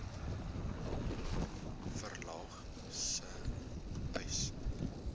verlaag sê uys